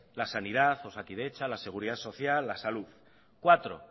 la sanidad osakidetza la seguridad social la salud cuatro